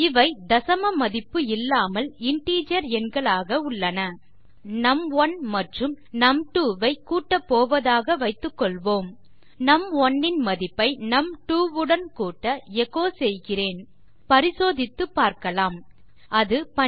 இவை தசம மதிப்பு இல்லாமல் இன்டிஜர் எண்களாக உள்ளன இப்போது நும்1 மற்றும் நும்2 ஐ கூட்ட போவதாக வைத்து கொள்வோம் நும்1 ன் மதிப்பை num2வுடன் கூட்ட எச்சோ செய்கிறேன் பரிசோதித்து பார்க்கலாம் அது 12